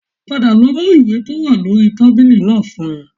Padà lọ mú ìwé tó wà lórí tábìlì náà fún mi